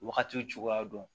Wagati cogoya dɔn